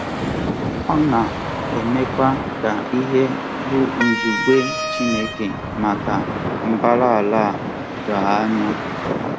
Ọ na-emekwa ka ihe bụ́ nzube Chineke maka mbara ala a doo anya.